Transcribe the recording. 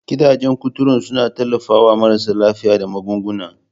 Gidajen kuturu suna tallafawa marasa lafiya da magunguna.